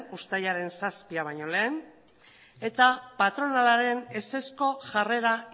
uztailaren zazpia baino lehen eta patronalaren ezezko jarrera